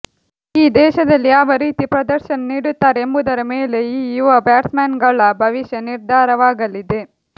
ಈ ದೇಶದಲ್ಲಿ ಯಾವ ರೀತಿ ಪ್ರದರ್ಶನ ನೀಡುತ್ತಾರೆ ಎಂಬುದರ ಮೇಲೆ ಈ ಯುವ ಬ್ಯಾಟ್ಸ್ಮನ್ಗಳ ಭವಿಷ್ಯ ನಿರ್ಧಾರವಾಗಲಿದೆ